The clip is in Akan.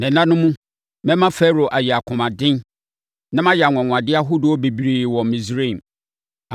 Na nna no mu, mɛma Farao ayɛ akomaden, na mayɛ anwanwadeɛ ahodoɔ bebree wɔ Misraim.